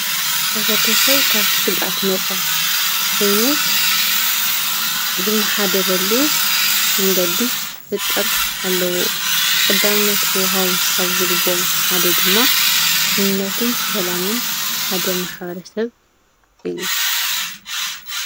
ሕ/ሰብ ካብ ስጋኣት ነፃ ኮይኑ ዝመሓደረሉ መንገዲ ክፈጥር ኣለዎ። ቀዳምነት ክዋሃቦም ካብ ዝግበኦም ሓደ ድማ ድሕንነት ሰላምን ሓደ ማ/ሰብ እዩ።